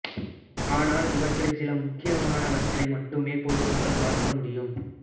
ஆனால் இவற்றில் சில முக்கியமானவற்றை மட்டுமே பொது மக்கள் பார்க்க முடியும்